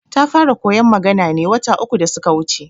Ta fara koyar magana ne wata uku da suka wuce